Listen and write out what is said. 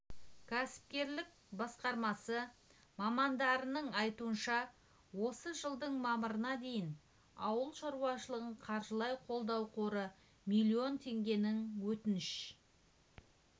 кәсіпкерлік басқармасы мамандарының айтуынша осы жылдың мамырына дейін ауыл шаруашылығын қаржылай қолдау қоры млн теңгенің өтінішін